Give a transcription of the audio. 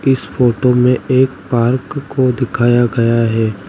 इस फोटो में एक पार्क को दिखाया गया है।